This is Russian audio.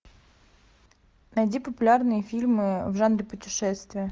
найди популярные фильмы в жанре путешествия